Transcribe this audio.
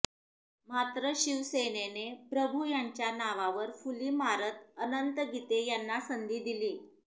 मात्र शिवसेनेने प्रभू यांच्या नावावर फुली मारत अनंत गीते यांना संधी दिली